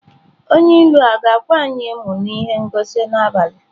Onye ilu a ga-akwa anyị emo na ihe ngosi n'abalị a?